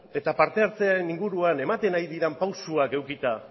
eta parte hartzearen inguruan ematen ari diren pausuak edukita